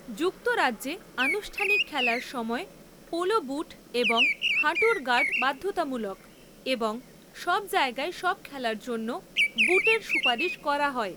যুক্তরাজ্যে আনুষ্ঠানিক খেলার সময় পোলো বুট এবং হাঁটুর গার্ড বাধ্যতামূলক, এবং সব জায়গায় সব খেলার জন্য বুটের সুপারিশ করা হয়।